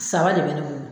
Saba de bɛ ne bolo